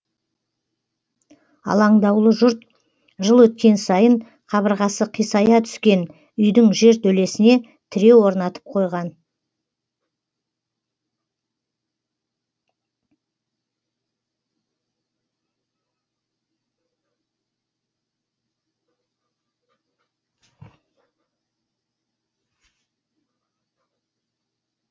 алаңдаулы жұрт жыл өткен сайын қабырғасы қисая түскен үйдің жертөлесіне тіреу орнатып қойған